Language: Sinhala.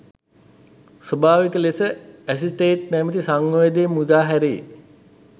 ස්වාභාවික ලෙස ඇසිටේට් නැමැති සංයෝගය මුදා හැරේ.